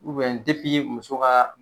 muso ka